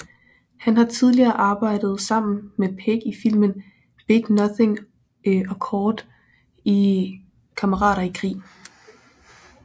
Han har tidligere arbejdet sammen med Pegg i filmen Big Nothing og kort i Kammerater i krig